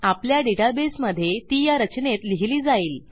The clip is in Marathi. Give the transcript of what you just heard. आपल्या डेटाबेसमधे ती या रचनेत लिहिली जाईल